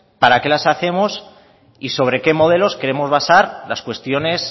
para qué las hacemos y sobre qué modelos queremos basar las cuestiones